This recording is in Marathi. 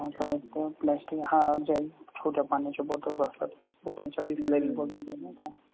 प्लास्टिक जल छोट्या पाण्याच्या bottle असतात व काहींच्या bislary bottle